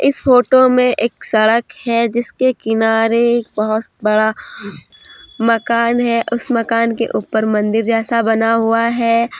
इस फोटो में एक सड़क है जिसके किनारे बहुत बड़ा मकान है उस मकान के ऊपर मंदिर जैसा बना हुआ है।